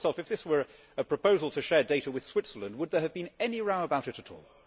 Ask yourself if this were a proposal to share data with Switzerland, would there have been any row about it at all?